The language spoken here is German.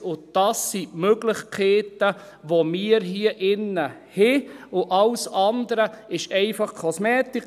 Und das sind die Möglichkeiten, die wir hier drin haben und alles andere ist einfach Kosmetik.